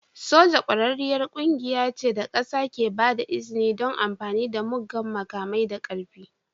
Soja ƙwararriyar ƙungiya ce da ƙasa ke ba da izini don amfani da muggan makamai da ƙarfi.